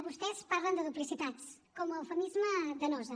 vostès parlen de duplicitats com a eufemisme de nosa